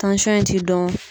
in ti dɔn